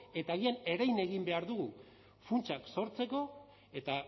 eta haien erein egin behar dugu funtsak sortzeko eta